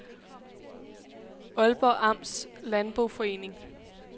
Aalborg Amts Landboforening